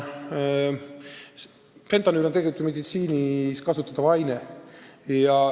Fentanüül on tegelikult meditsiinis kasutatav aine.